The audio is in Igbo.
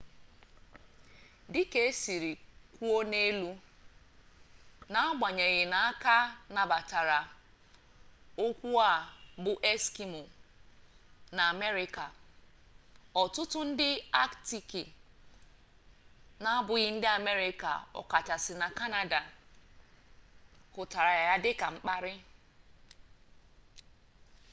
dịka e si kwuo n'elu n'agbanyeghi na a ka nabatara okwu a bụ eskimo na amerịka ọtụtụ ndị aktiki n'abụghị ndị amerịka ọ kachasị na kanada hụtara ya dịka mkparị